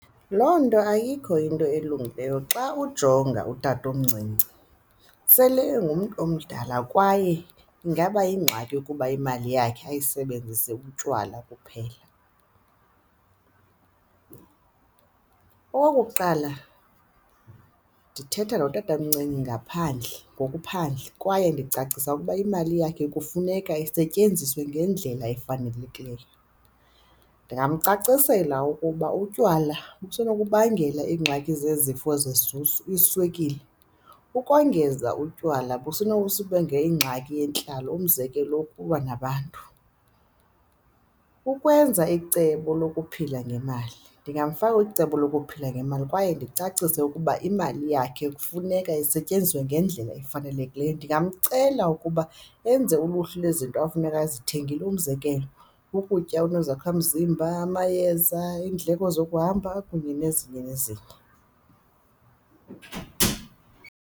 Loo nto ayikho into elungileyo xa ujonga utatomncinci sele engumntu omdala kwaye ingaba yingxaki ukuba imali yakhe ayisebenzise ubutywala kuphela. Okokuqala, ndithetha notatomncinci ngaphandle ngoku phandle kwaye ndicacise ukuba imali yakhe kufuneka isetyenziswe ngendlela efanelekileyo. Ndingamcacisela ukuba utywala kusenokubangela iingxaki zezifo iswekile, ukongeza utywala ingxaki yentlalo, umzekelo ukulwa nabantu. Ukwenza icebo lokuphila ngemali, ndingafaka kwicebo lokuphila ngemali kwaye ndingamcacisela ukuba imali yakhe kufuneka isetyenziswe ngendlela efanelekileyo. Ndingamcela ukuba enze uluhlu lwezinto efuneka ezithengile, umzekelo ukutya okunezakha mzimba, amayeza iindleko zokuhamba kunye nezinye nezinye.